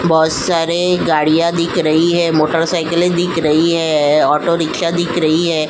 बोहोत सारे गाड़ियां दिख रही हैं मोटरसाइकिलें दिख रही हैं ऑटोरिक्शा दिख रही हैं।